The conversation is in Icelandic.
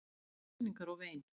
Skruðningar og vein.